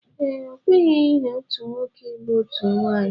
Ee, okwenyeghi na otu nwoke ilụ otu nwaanyị.